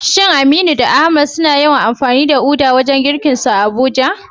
Shin Aminu da Ahmad suna yawan amfani da uda wajen girkinsu a Abuja?